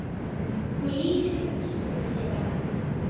Hún lýsti útliti þeirra.